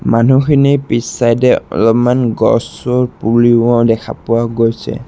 মানুহখিনিৰ পিছ চাইড এ অলপ গছৰ পুলিও দেখা পোৱা গৈছে।